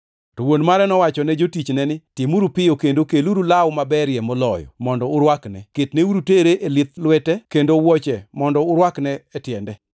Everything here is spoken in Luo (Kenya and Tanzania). “To wuon mare nowacho ne jotichne ni, ‘Timuru piyo kendo keluru law maberie moloyo mondo urwakne. Ketneuru tere e lith lwete kendo wuoche mondo urwakne e tiende.